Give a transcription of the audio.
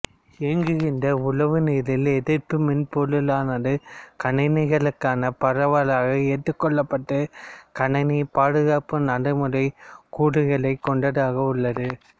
இயங்குகின்ற உளவுநிரல் எதிர்ப்பு மென்பொருளானது கணினிகளுக்கான பரவலாக ஏற்றுக்கொள்ளப்பட்ட கணினி பாதுகாப்பு நடைமுறை கூறுகளைக் கொண்டதாக உள்ளது